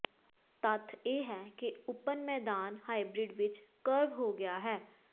ਤੱਥ ਇਹ ਹੈ ਕਿ ਓਪਨ ਮੈਦਾਨ ਹਾਈਬ੍ਰਿਡ ਵਿਚ ਕਰਵ ਹੋ ਗਿਆ ਹੈ